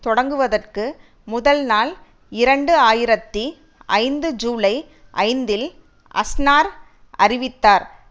தொடக்குவதற்கு முதல்நாள் இரண்டு ஆயிரத்தி ஐந்து ஜூலை ஐந்தில் அஸ்னார் அறிவித்தார்